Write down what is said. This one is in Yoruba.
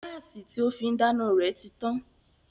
Gáàsì tí ó fín dáná rẹ̀ ti tán